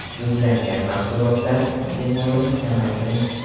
Dudlangan mahsulotlar iste’molini kamaytiring.